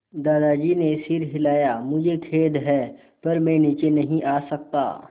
दादाजी ने सिर हिलाया मुझे खेद है पर मैं नीचे नहीं आ सकता